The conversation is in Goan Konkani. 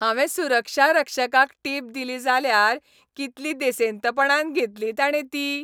हांवें सुरक्षारक्षकाक टिप दिली जाल्यार कितली देसेंतपणान घेतली ताणे ती.